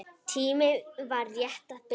Tíminn var rétt að byrja.